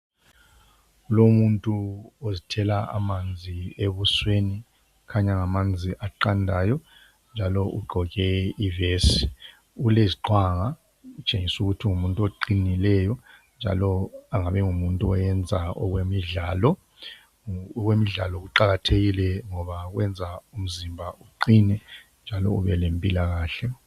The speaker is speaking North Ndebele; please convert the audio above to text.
Lomuntu ozthela amanzi ebusweni kukhanya ngamanzi aqandayo njalo ugqoke ivesi, uleziqwanga utshengisa ukuthi ungumuntu oqinileyo njalo engabe engumuntu oyenza okwemidlalo. Okwemidlalo kuqakathekile ngoba kwenza umzimba uqine njalo ube lempilakahle.